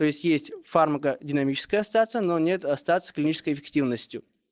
то есть есть фармакодинамическое остаться но нет остаться клинической эффективностью